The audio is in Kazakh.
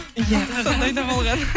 иә сондай да болған